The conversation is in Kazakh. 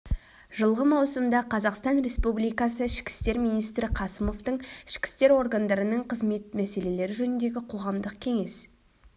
жылғы маусымда қазақстан республикасы ішкі істер министрі қасымовтың ішкі істер органдарының қызмет мәселелері жөніндегі қоғамдық кеңес